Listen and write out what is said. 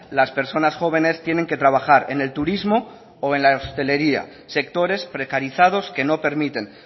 las personas jóvenes tienen que trabajar en el turismo o en la hostelería sectores precarizados que no permiten